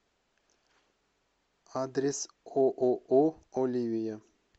адрес ооо оливия